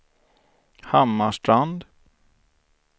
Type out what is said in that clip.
Hammarstrand